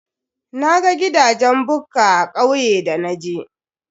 Naga gidajen bukka a kauye da naje.